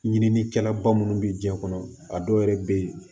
Ɲinikɛlaba munnu bɛ diɲɛ kɔnɔ a dɔw yɛrɛ bɛ yen